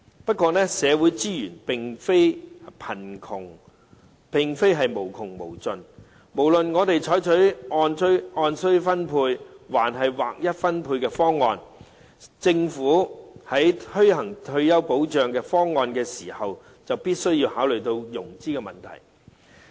不過，社會資源並非無窮無盡，不論我們採取按需要分配，還是劃一分配的方案，政府在推行退休保障方案時必須考慮融資問題。